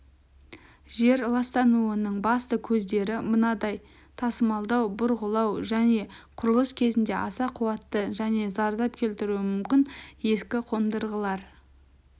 жер ластануының басты көздері мынадай тасымалдау бұрғылау және құрылыс кезінде аса қуатты және зардап келтіруі мүмкін ескі қондырғылар